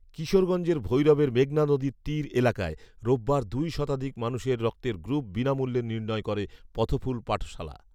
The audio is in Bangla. কিশোরগঞ্জের ভৈরবের মেঘনা নদীর তীর এলাকায় রোববার দুই শতাধিক মানুষের রক্তের গ্রুপ বিনামূল্যে নির্ণয় করে ‘পথফুল পাঠশালা’